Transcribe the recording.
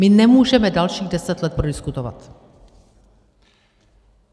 My nemůžeme dalších deset let prodiskutovat.